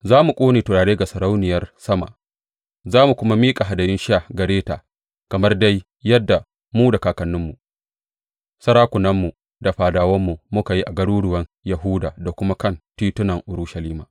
Za mu ƙone turare ga Sarauniyar Sama za mu kuma miƙa hadayun sha gare ta kamar dai yadda mu da kakanninmu, sarakunanmu da fadawanmu muka yi a garuruwan Yahuda da kuma kan titunan Urushalima.